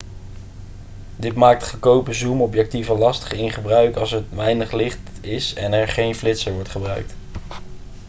dit maakt goedkope zoomobjectieven lastig in gebruik als er weinig licht is en er geen flitser wordt gebruikt